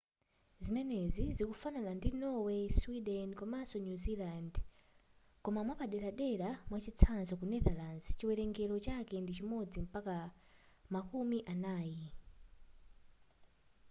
zimenezi zikufanana ndi norway sweden komanso new zealand koma mwapaderadera mwachitsanzo ku netherlands chiwelengero chake ndi chimodzi mpaka makumi anayi